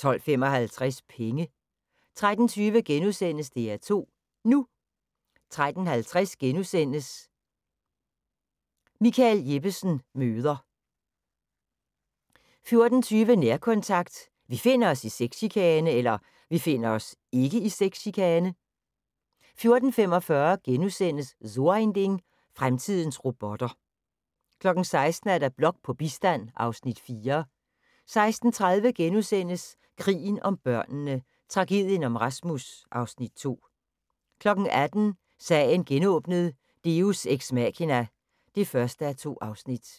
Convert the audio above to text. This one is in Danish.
12:55: Penge 13:20: DR2 NU * 13:50: Michael Jeppesen møder ...* 14:20: Nærkontakt – Vi finder os (ikke) i sexchikane 14:45: So ein Ding: Fremtidens robotter * 16:00: Blok på bistand (Afs. 4) 16:30: Krigen om børnene: Tragedien om Rasmus (Afs. 2)* 18:00: Sagen genåbnet: Deus ex machina (1:2)